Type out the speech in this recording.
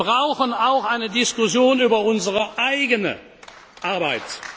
Wir brauchen auch eine Diskussion über unsere eigene